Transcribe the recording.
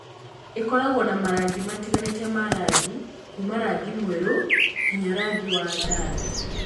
Ĩkoragwo na marangi matiganĩte ma rangi, kuuma rangi mwerũ nginya wa rangi wa ndathi.